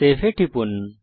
save এ টিপুন